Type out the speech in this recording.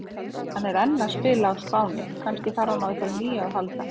Hann er enn að spila á Spáni, kannski þarf hann á einhverju nýju að halda?